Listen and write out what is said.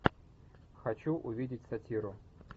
хочу увидеть сатиру